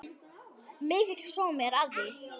Mikill sómi er að því.